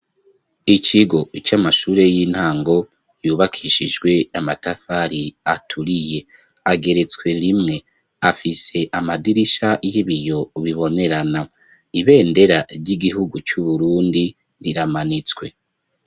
Ikigo c'amashure y'intango yubakishijwe amatafari aturiye, ageretswe rimwe. Afise amadirisha y'ibiyo bibonerana. Ibendera ry'igihugu c'Uburundi riramanitswe.